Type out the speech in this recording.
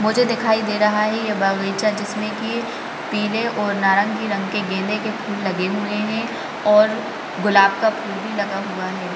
मुझे दिखाई दे रहा है यह बगीचा जिसमे की पीले और नारंगी रंग के गेंदे के फूल लगे हुये है और गुलाब का फूल भी लगा हुआ है ।